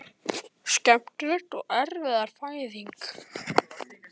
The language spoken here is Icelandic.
Skemmtileg og erfið fæðing